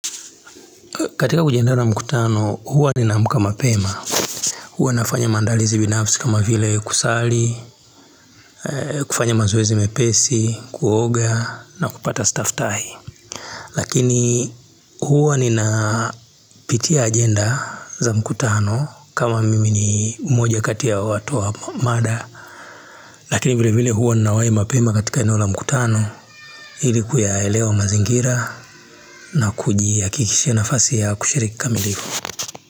Katika kujiandaa na mkutano, huwa ni naamka mapema. Huwa nafanya maandalizi binafsi kama vile kusali, kufanya mazoezi mepesi, kuoga na kupata staftahi. Lakini huwa ninapitia agenda za mkutano kama mimi ni mmoja kati ya watu wa mada. Lakini vile vile huwa ninawahi mpema katika eneo la mkutano. Ili kuyaelewa mazingira na kujihakikishia nafasi ya kushiriki kikamilivu.